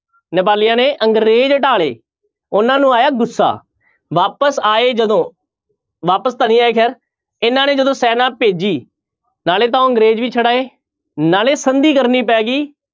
ਨੇਪਾਲੀਆਂ ਨੇ ਅੰਗਰੇਜ਼ ਢਾਹ ਲਏ ਉਹਨਾਂ ਨੂੰ ਆਇਆ ਗੁੱਸਾ ਵਾਪਿਸ ਆਏ ਜਦੋਂ, ਵਾਪਿਸ ਤਾਂ ਨੀ ਆਏ ਖੈਰ, ਇਹਨਾਂ ਨੇ ਜਦੋਂ ਸੈਨਾ ਭੇਜੀ ਨਾਲੇ ਤਾਂ ਉਹ ਅੰਗਰੇਜ਼ ਵੀ ਛਡਾਏ ਨਾਲੇ ਸੰਧੀ ਕਰਨੀ ਪੈ ਗਈ